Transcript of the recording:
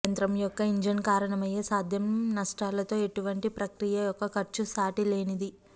యంత్రం యొక్క ఇంజిన్ కారణమయ్యే సాధ్యం నష్టాలతో ఇటువంటి ప్రక్రియ యొక్క ఖర్చు సాటిలేనిది